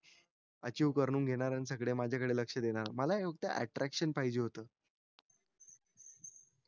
achieve करून घेणार आणि सगळे माझा कडे लक्ष देणार मला फक्त attraction पाहिजे होत